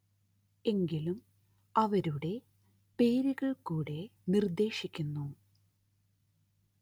എങ്കിലും അവരുടെ പേരുകള്‍ കൂടെ നിര്‍ദ്ദേശിക്കുന്നു